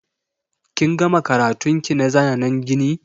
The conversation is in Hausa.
Kin gama karatun ki na zanen gini?